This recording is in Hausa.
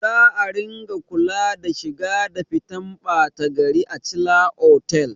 Za a ringa kula da shiga da fitan ɓata gari a chila otal